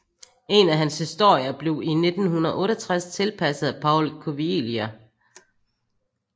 En af hans historier blev i 1968 tilpasset af Paul Cuvelier